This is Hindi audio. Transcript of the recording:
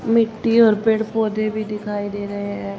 मिट्टी और पेड़ पौधे भी दिखाई दे रहे हैं।